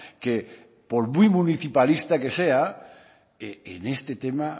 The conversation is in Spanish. que por muy municipalista que sea en este tema